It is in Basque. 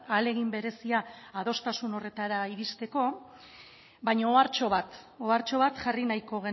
ahalegin berezia adostasun horretara iristeko baina ohartxo bat ohartxo bat jarri nahiko